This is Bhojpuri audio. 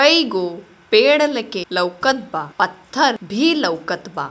कई गो पेड़ लगे लौकत बा पत्थर भी लौकत बा।